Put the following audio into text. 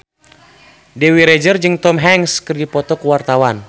Dewi Rezer jeung Tom Hanks keur dipoto ku wartawan